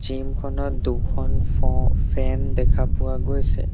জিমখনত দুখন ফো ফেন দেখা পোৱা গৈছে।